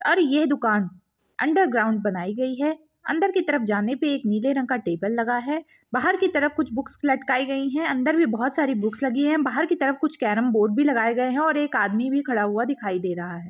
और ये दुकान अन्डर ग्राउन्ड बनाई गई है अंदर की तरफ़ जाने पे एक नीले रंग का टेबल लगा है बाहर की तरफ़ कुछ बुक्स लटकाई गई हैं अंदर भी बहोत सारे बुक्स लगी हैं बाहर की तरफ़ कुछ कैरम बोर्ड भी लगाए गए हैं और एक आदमी भी खड़ा हुआ दिखाई दे रहा है।